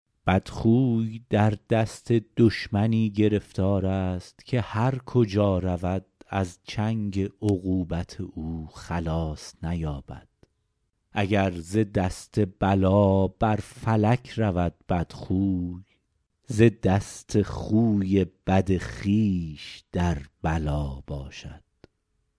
بدخوی در دست دشمنی گرفتار است که هر کجا رود از چنگ عقوبت او خلاص نیابد اگر ز دست بلا بر فلک رود بدخوی ز دست خوی بد خویش در بلا باشد